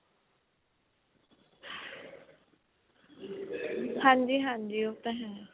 ਹਾਂਜੀ ਹਾਂਜੀ ਉਹ ਤਾਂ ਹੈ